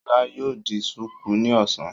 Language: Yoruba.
Ṣọlá yóò di ṣùkú ní ọ̀sán.